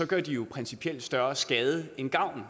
gør de jo principielt større skade end gavn